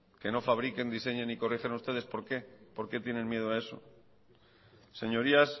que no fabriquen diseñen y corrigen ustedes por qué por qué tienen miedo a eso señorías